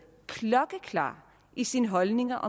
klokkeklar i sine holdninger